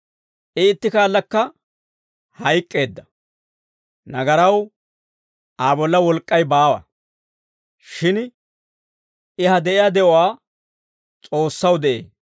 I itti kaallakka hayk'k'eedda; nagaraw Aa bolla wolk'k'ay baawa; shin I ha de'iyaa de'uwaa S'oossaw de'ee.